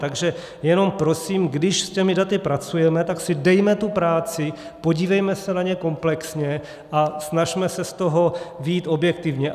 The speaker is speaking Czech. Takže jenom prosím, když s těmi daty pracujeme, tak si dejme tu práci, podívejme se na ně komplexně a snažme se z toho vyjít objektivně.